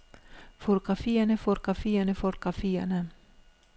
fotografierne fotografierne fotografierne